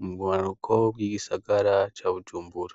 mu bumanuko bwigisagara ca bujumbura